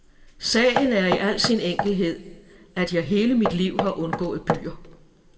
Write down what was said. Sagen er i al sin enkelhed, at jeg hele mit liv har undgået byer.